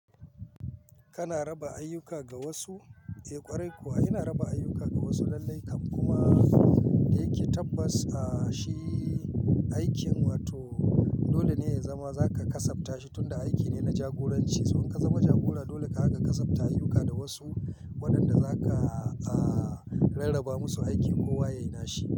Kana raba ayyuka ga wasu? Eh ƙwarai kuwa, ina raba ayyuka ga wasu lallai kam kuma da yake tabbas, ah, shi aikin wato dole ne ya zama za ka kasabta shi tunda aiki ne na jagoranci. Sannan ka zama jagora dolenka ka kasabta ayyuka da wasu waɗanda za ka rarraba musu aiki kowa ya yi na shi.